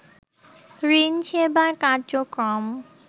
ঋণ সেবার কার্যক্রম